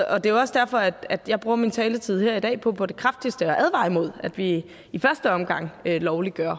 er jo også derfor at jeg bruger min taletid her i dag på på det kraftigste at advare imod at vi i første omgang lovliggør